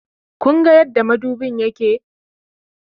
Kunga yadda madubin yake?